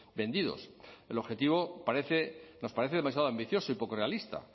vendidos el objetivo parece nos parece demasiado ambicioso y poco realista